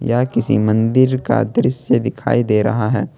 यह किसी मंदिर का दृश्य दिखाई दे रहा है।